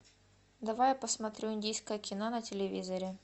давай я посмотрю индийское кино на телевизоре